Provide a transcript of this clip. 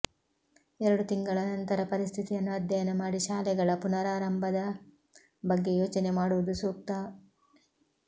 ಎರಡು ತಿಂಗಳ ನಂತರ ಪರಿಸ್ಥಿತಿಯನ್ನು ಅಧ್ಯಯನ ಮಾಡಿ ಶಾಲೆಗಳ ಪುನರಾರಂಭದ ಬಗ್ಗೆ ಯೋಚನೆ ಮಾಡುವುದು ಸೂಕ್ತ